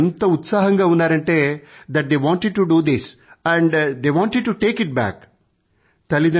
పిల్లలు ఎంత ఎంతుసియాస్టిక్ గా ఉన్నారంటే that they wanted to do this and they wanted to take it back